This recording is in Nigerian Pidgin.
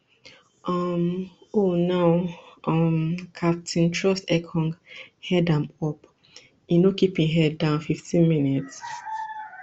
um oh now um captain troostekong head am up e no keep im head down fifteenmins